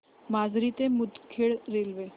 माजरी ते मुदखेड रेल्वे